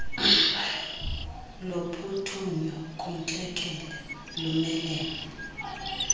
lophuthunyo kwintlekele lumelene